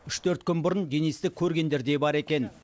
үш төрт күн бұрын денисті көргендер де бар екен